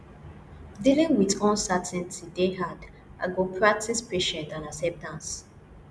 dealing with uncertainty dey hard i go practice patience and acceptance